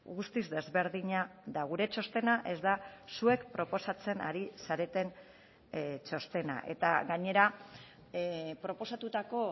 guztiz desberdina da gure txostena ez da zuek proposatzen ari zareten txostena eta gainera proposatutako